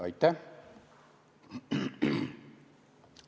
Aitäh!